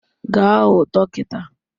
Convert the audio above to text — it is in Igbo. Gaa hụ dọkịta